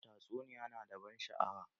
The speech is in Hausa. Tatsuniya na da ban sha'awa